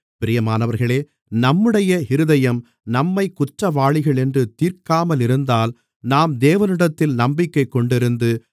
பிரியமானவர்களே நம்முடைய இருதயம் நம்மைக் குற்றவாளிகளென்று தீர்க்காமலிருந்தால் நாம் தேவனிடத்தில் நம்பிக்கைக் கொண்டிருந்து